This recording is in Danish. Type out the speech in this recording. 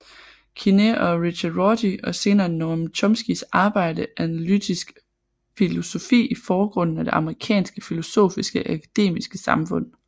Quine og Richard Rorty og senere Noam Chomskys arbejde analytisk filosofi i forgrunden af det amerikanske filosofiske akademiske samfund